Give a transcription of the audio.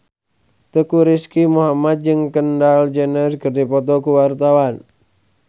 Teuku Rizky Muhammad jeung Kendall Jenner keur dipoto ku wartawan